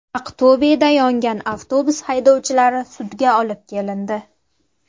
Aqto‘beda yongan avtobus haydovchilari sudga olib kelindi.